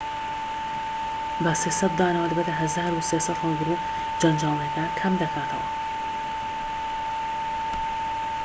بە ٣٠٠ دانەوە دەبێتە ١٣٠٠ هەڵگر و جەنجاڵیەکە کەم دەکاتەوە